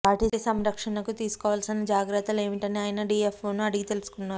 వాటి సంరక్షణకు తీసుకోవాల్సిన జాగ్రత్తలు ఏమిటని ఆయన డిఎఫ్ఓను అడిగి తెలుసుకున్నారు